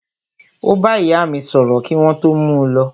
Ó bá ìyá mí sọ̀rọ̀ kí wọ́n tó mú u lọ.